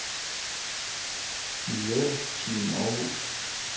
MiljøTeam Århus